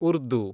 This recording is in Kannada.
ಉರ್ದು